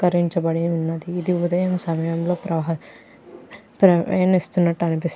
అలంకరించిబడి ఉన్నది ఇది ఉదయం సమయంలో ప్రహ ప్రయాణిస్తున్నట్టు అనిపిస్తుంది --